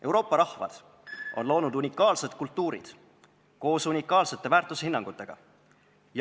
Euroopa rahvad on loonud unikaalsed kultuurid koos unikaalsete väärtushinnangutega.